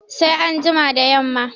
Sai an jima da yamma